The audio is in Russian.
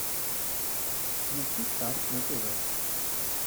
включи старт на тв